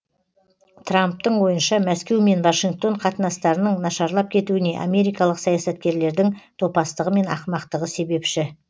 трамптың ойынша мәскеу мен вашингтон қатынастарының нашарлап кетуіне америкалық саясаткерлердің топастығы мен ақымақтығы себепші